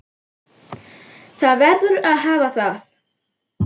Það verður að hafa það.